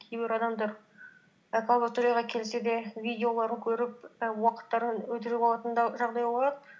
кейбір адамдар лабораторияға келсе де видеоларын көріп і уақыттарын өлтіріп алатын да жағдай болады